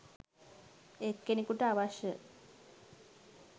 එක්කෙනෙකුට අවශ්‍ය